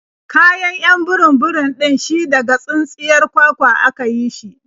Kayan 'yan burum-burum ɗin shi daga tsintsiyar kwakwa a ka yi shi.